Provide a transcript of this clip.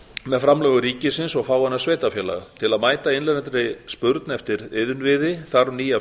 með framlögum ríkis og fáeinna sveitarfélaga til að mæta innlendri spurn eftir iðnviði þarf nýja